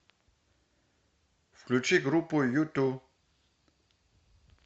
включи группу юту